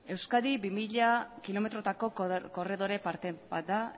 euskadi bi mila kilometrotako korredore parte bat da